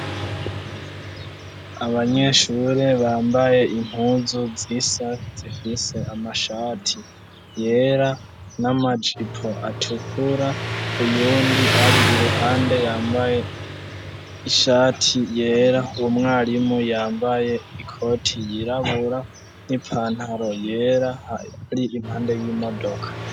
abanyeshure bambaye impunzu zisa zifise amashati yera n'amajipo atukura uyundi ari iruhande yambaye ishati yera umwarimu yambaye ikoti yirabura n'ipantaro yera ari impande y'imodoka